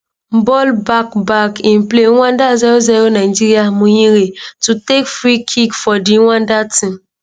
ball back back in play rwanda 00 nigeria muhire to takefree kick fordi rwanda team